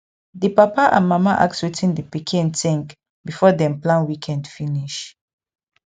di papa and mama ask wetin di pikin think before dem plan weekend finish